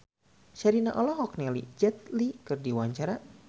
Sherina olohok ningali Jet Li keur diwawancara